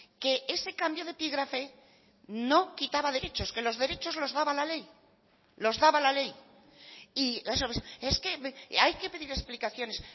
que ese cambio de epígrafe no quitaba derechos que los derechos los daba la ley los daba la ley y es que hay que pedir explicaciones